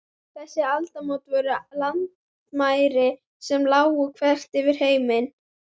Þessi aldamót voru landamæri sem lágu þvert yfir heiminn.